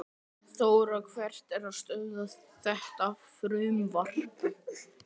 Þóra: Hver er að stöðva þetta frumvarp?